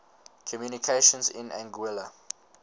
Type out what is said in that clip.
communications in anguilla